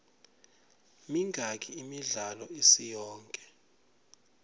mingaki imidlalo isiyonke